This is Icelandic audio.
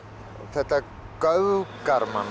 þetta göfgar mann